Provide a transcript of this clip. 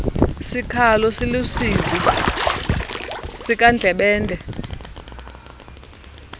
sikhalo siluusizi sikandlebende